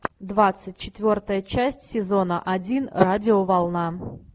двадцать четвертая часть сезона один радиоволна